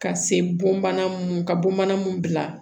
Ka se bonbana mun ka bon bana mun bila